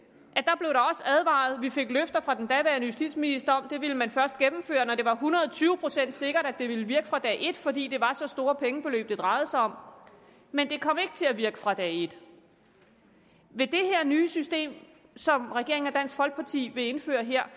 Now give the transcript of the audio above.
at vi fik løfter fra den daværende justitsminister om at det ville man først gennemføre når det var hundrede tyve procent sikkert at det ville virke fra dag et fordi det var så store pengebeløb det drejede sig om men det kom jo ikke til at virke fra dag et ved det nye system som regeringen og dansk folkeparti vil indføre her